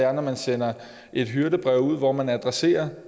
er når man sender et hyrdebrev ud hvor man adresserer